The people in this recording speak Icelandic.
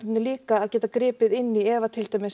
líka að geta gripið inn í ef að til dæmis